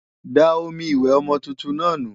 Da omi ìwẹ̀ ọmọ tuntun náà nù!